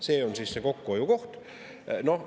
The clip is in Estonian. See on siis see kokkuhoiukoht!